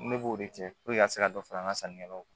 Ne b'o de kɛ ka se ka dɔ fara an ka sannikɛlaw kan